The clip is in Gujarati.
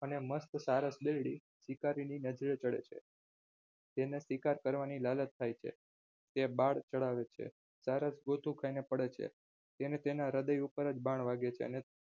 અને મસ્ત સારસ બિલ્ડી શિકારીની નજરે ચઢે છે તેને શિકાર કરવાની લાલચ થાય છે તે બાળ ચઢાવે છે સારસ ગોથું ખાઈને પડે છે તેને તેના હૃદય ઉપર જ બાણ વાગે છે અને